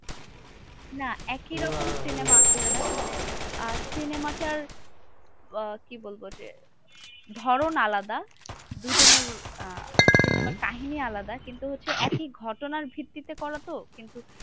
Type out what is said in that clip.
না একই রকম cinema আসলে না, মানে আহ cinema টার আহ কি বলবো? যে, ধরণ আলাদা দুজনের আহ cinema র কাহিনী আলাদা। কিন্তু হচ্ছে একই ঘটনার ভিত্তিতে করা তো? কিন্তু